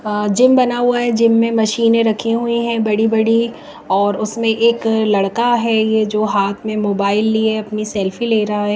अ-जिम बना हुआ है जिम में मशीनें रखी हुई हैं बड़ी-बड़ी और उसमें एक लड़का है ये जो हाथ में मोबाइल लिए अपनी सेल्फी ले रहा है।